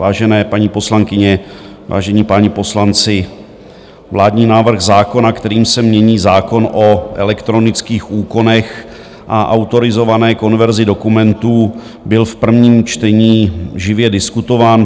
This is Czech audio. Vážené paní poslankyně, vážení páni poslanci, vládní návrh zákona, kterým se mění zákon o elektronických úkonech a autorizované konverzi dokumentů, byl v prvním čtení živě diskutován.